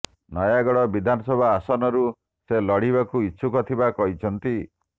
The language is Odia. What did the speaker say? ନୟାଗଡ ବିଧାନସଭା ଆସନରୁ ସେ ଲଢିବାକୁ ଇଚ୍ଛୁକ ଥିବା କହିଛନ୍ତି